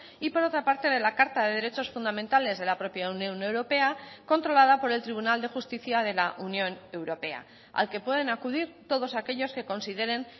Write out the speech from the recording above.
y por otra parte de la carta de derechos fundamentales de la propia unión europea controlada por el tribunal de justicia de la unión europea al que pueden acudir todos aquellos que consideren